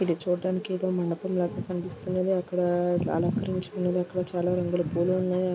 ఇది చూడటానికి మండపం లాగా కనిపిస్తున్నది. అక్కడ చాల రంగుల పూలు ఉన్నవి.